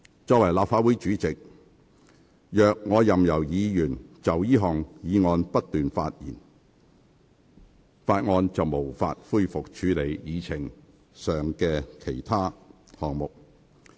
作為立法會主席，我如任由議員就這項議案不斷發言，立法會便無法恢復處理議程上的項目。